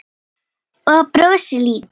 Og brosti líka.